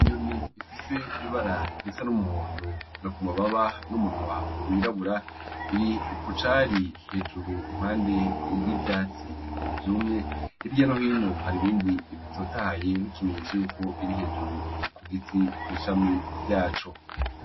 Inyoni ifise ibara risa n'umuhondo no ku mababa n'umunwa w'irabura iri kucari hejuru impande y'ivyatsi vyumye hirya no hino hari ibindi bitotahaye nk'ikimenyetso yuko iri hejuru ku giti kw'ishami ryaco